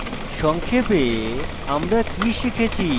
সংক্ষেপে আমরা কি শিখেছি